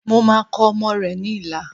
Mo máa kọ ọmọ rẹ̀ ní ilà